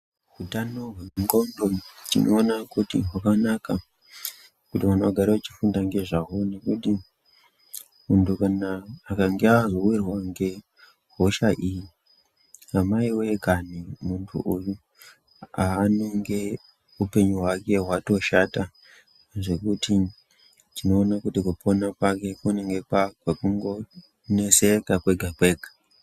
Utano hwendxondo tinoona kuti hwakanaka kuti vanhu vagare vachifunda ngezvaho nekuti muntu akange azowirwa ngehosha iyi amaiwee kana muntu uyu haanonge upenyu hwake hwatoshata zvekuti tinoona kuti kupona kwake kunenge kwakwekungoneseka kwega kwega.